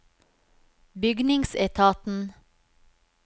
bygningsetaten